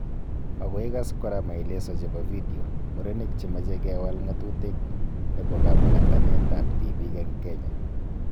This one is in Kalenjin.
Makoikas kora maeleso chebo video, murenik chemeche kewal ng'atutik nebo kamuratanet ab tibiik eng Kenya